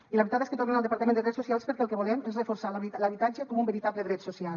i la veritat és que tornen al departament de drets socials perquè el que volem és reforçar l’habitatge com un veritable dret social